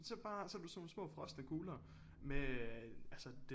Så bare så har du sådan nogle små frostne kugle med øh altså det